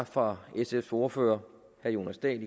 fra sfs ordfører herre jonas dahl